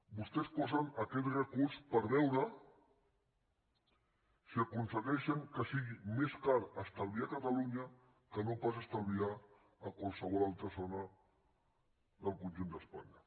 vostès posen aquest recurs per veure si aconsegueixen que sigui més car estalviar a catalunya que no pas estalviar a qualsevol altra zona del conjunt d’espanya